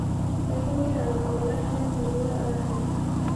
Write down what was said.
ekingira iltung'ana lemurua arrep